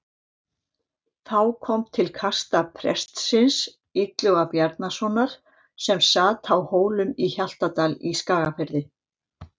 Þá kom til kasta prestsins Illuga Bjarnasonar sem sat á Hólum í Hjaltadal í Skagafirði.